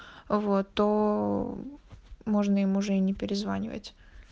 вот то можно им уже не перезванивать